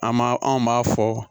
An b'a anw b'a fɔ